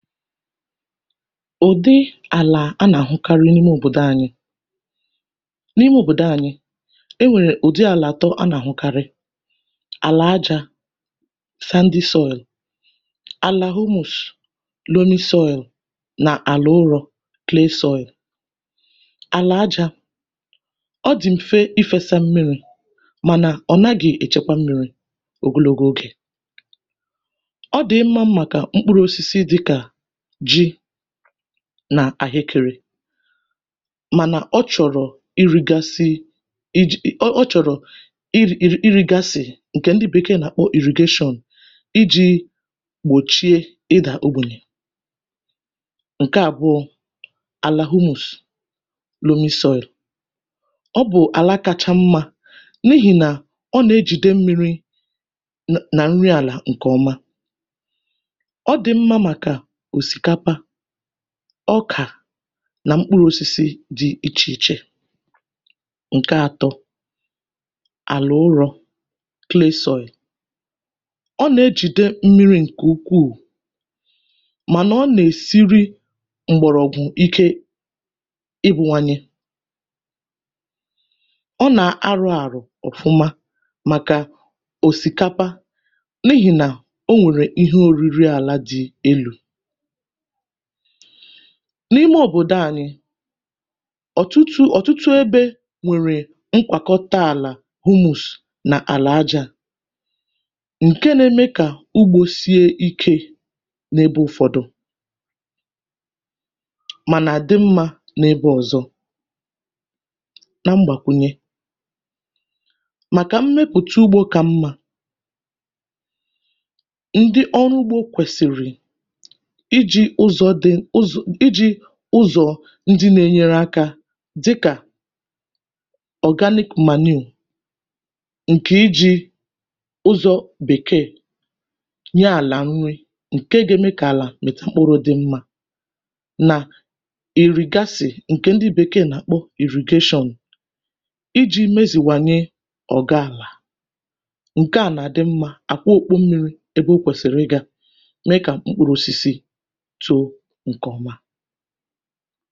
Ụ̀dị àlà a nà-àhụkarị n’ime òbòdò anyị, n’ime òbòdò anyị̇ e nwèrè ụ̀dị àlà atọ a nà-àhụkarị, àlà ajȧ sandy soil, alà humus loamy soil nà àlà ụrọ̇ clay soil. Àlà ajȧ ọ dị̀ m̀fe ifėsa mmiri̇ mànà ọ̀ naghị̇ èchekwa mmiri̇ ogologo ogè, ọ dị̀ ịma mma kà mkpụrụ̇ osisi dị̇ kà ji nà àhịkịrị mànà ọ chọ̀rọ̀ irigasị iji̇ ọ chọ̀rọ̀ ir i ri iri gasị ǹkè ndị bèkeè nà-àkpọ irrigation iji̇ gbòchie ịdà ogbènyè. Ǹke àbụọ àlà humus loamy soil, ọ bụ̀ àla kacha mmȧ n’ihì nà ọ nà-ejìde mmiri̇ nà nà nri àlà ǹkè ọma, ọ dị mma maka osikapa, ọkà nà mkpụrụ̇osisi dị̇ ichè ichè. Ǹke atọ àlà ụrọ̇ clay soil, ọ nà-ejìde m̀miri ǹkè ukwuù mànà ọ nà-èsiri m̀gbọ̀rọ̀gwụ̀ ike ịwụ̇nwanye, ọ nà-arụ àrụ̀ ọ̀fụma màkà òsìkapa n’ihì nà o nwèrè ihe òriri àla dị elu n’ime òbòdò ànyị̀ ọ̀tụtụ ọ̀tụtụ ebe nwèrè nkwàkọta àlà humus nà àlà aja ǹke na-eme kà ugbȯ sie ike n’ebe ụ̀fọdụ mà nà àdị mmȧ n’ebe ọ̀zọ. Na mgbàkwùnye, màkà mmepụ̀ta ugbȯ kà mmȧ, ndị ọrụ ụgbọ kwesịrị iji ụzọ̀ dị ụzọ iji ụzọ̀ ndị na-enyere akȧ dịkà organic manure ǹkè iji̇ ụzọ̇ bèkee nye àlà nri ǹke ga-eme kà àlà mètà mkpụrụ̇ dị mmȧ nà ìrìgasì ǹkè ndị bèkee nà-àkpọ irrigation iji̇ mezìwanye ọ̀ga àlà ǹke à nà-adị mmȧ àkwa okpu mmiri̇ ebe ọ kwèsìrì ịgȧ mee kà mkpụrụ̇ ọsị̀sị̀ too ǹkẹ̀ ọma.